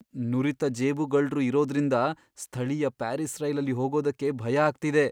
ನುರಿತ ಜೇಬುಗಳ್ರು ಇರೋದ್ರಿಂದ ಸ್ಥಳೀಯ ಪ್ಯಾರಿಸ್ ರೈಲಲ್ಲಿ ಹೋಗೋದಕ್ಕೆ ಭಯ ಆಗ್ತಿದೆ.